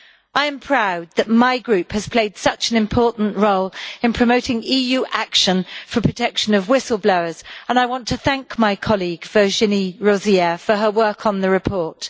I am proud that my group has played such an important role in promoting EU action for the protection of whistle-blowers, and I want to thank my colleague, Virginie Rozière, for her work on the report.